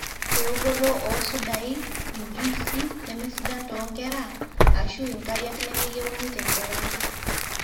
eokoto oosudai, injuisy nemesedan toonkera aashu inkariak nemeyieuni tenkerai